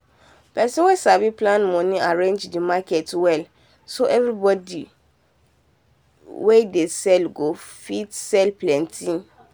person wen sabi plan money arrange the market well so everybody wen dey sell go fit sell plenty.